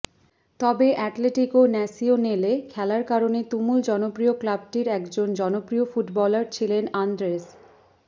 তবে Atletico Nacional খেলার কারণে তুমুল জনপ্রিয় ক্লাবটির একজন জনপ্রিয় ফুটবলার ছিলেন আন্দ্রেস